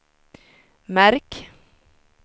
märk